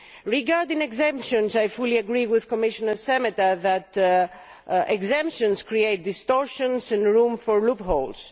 Regarding exemptions, I fully agree with Commissioner Šemeta that exemptions create distortions and room for loopholes.